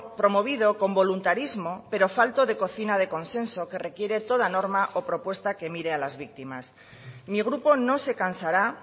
promovido con voluntarismo pero falto de cocina de consenso que requiere toda norma o propuesta que mire a las víctimas mi grupo no se cansará